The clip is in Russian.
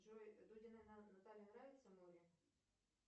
джой дудиной наталье нравится море